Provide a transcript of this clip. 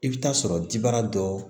I bɛ taa sɔrɔ jibara dɔ